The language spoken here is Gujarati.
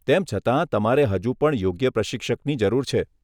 તેમ છતાં તમારે હજુ પણ યોગ્ય પ્રશિક્ષકની જરૂર છે.